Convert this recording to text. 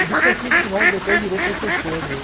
E do, que depois virou professor meu.